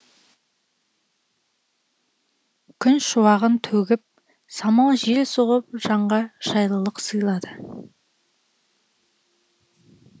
күн шуағын төгіп самал жел соғып жанға жайлылық сыйлады